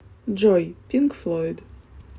джой пинк флойд